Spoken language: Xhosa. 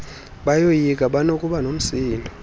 bayoyika banokuba nomsindo